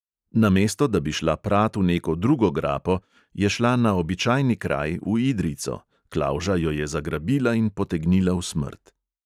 Namesto da bi šla prat v neko drugo grapo, je šla na običajni kraj, v idrijco, klavža jo je zagrabila in potegnila v smrt.